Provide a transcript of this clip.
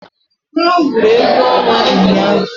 Ha gwụrụ egwu ọnwa ụnyahụ